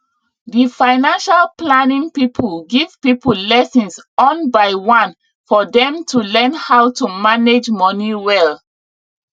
di financial planning people give people lessons on by one for dem to learn how to manage money well